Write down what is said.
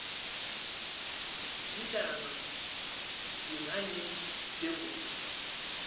lilanga yinkhanyeti lenkhulu